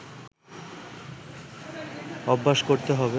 অভ্যাস করতে হবে